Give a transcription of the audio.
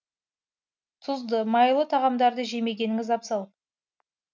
тұзды майлы тағамдарды жемегеніңіз абзал